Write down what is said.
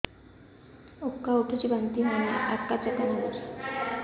ଉକା ଉଠୁଚି ବାନ୍ତି ହଉନି ଆକାଚାକା ନାଗୁଚି